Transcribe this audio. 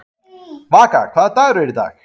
Vaka, hvaða dagur er í dag?